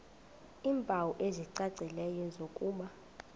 iimpawu ezicacileyo zokuba